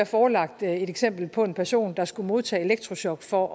forelagt et eksempel på en person der skulle modtage elektrochok for